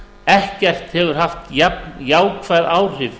ekkert hefur haft jafn jákvæð áhrif